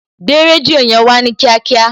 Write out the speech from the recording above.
Gbé rédíò yẹn Wá ní kíákíá